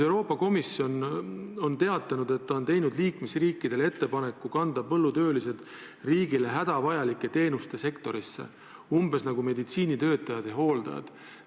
Euroopa Komisjon on teatanud, et ta on teinud liikmesriikidele ettepaneku kanda põllutöölised riigile hädavajalike teenuste sektorisse, umbes nagu meditsiinitöötajad ja hooldajad.